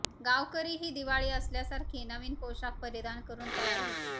गावकरीही दिवाळी असल्यासारखे नवीन पोशाख परिधान करुन तयार होते